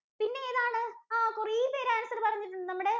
പിന്നെ ഏതാണ്? ആഹ് കുറേ പേര് answer പറഞ്ഞിട്ടുണ്ട്. നമ്മുടെ